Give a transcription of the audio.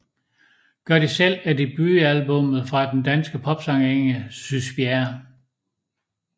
Gør det selv er debutalbummet fra den danske popsangerinde Sys Bjerre